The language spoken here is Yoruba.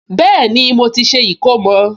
Bẹ́ẹ̀ni, mo ti ṣe ìkómọ